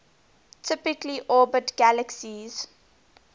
typically orbit galaxies